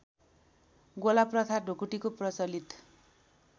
गोलाप्रथा ढुकुटीको प्रचलित